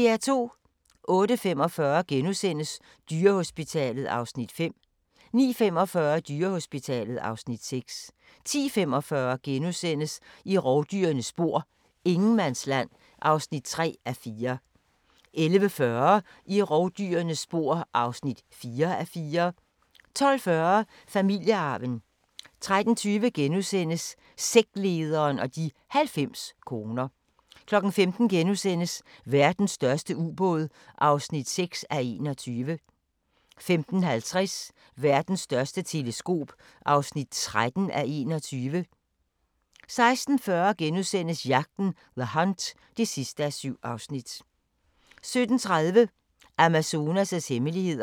08:45: Dyrehospitalet (Afs. 5)* 09:45: Dyrehospitalet (Afs. 6) 10:45: I rovdyrenes spor: Ingenmandsland (3:4)* 11:40: I rovdyrenes spor (4:4) 12:40: Familiearven 13:20: Sektlederen og de 90 koner * 15:00: Verdens største ubåd (6:21)* 15:50: Verdens største teleskop (13:21) 16:40: Jagten – The Hunt (7:7)* 17:30: Amazonas' hemmeligheder